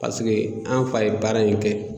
Paseke an fa ye baara in kɛ